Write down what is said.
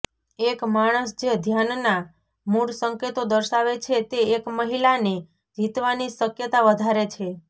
એક માણસ જે ધ્યાનનાં મૂળ સંકેતો દર્શાવે છે તે એક મહિલાને જીતવાની શક્યતા વધારે છે